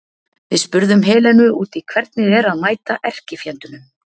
Við spurðum Helenu út í hvernig er að mæta erkifjendunum?